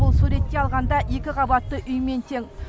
бұл суреттей алғанда екі қабатты үймен тең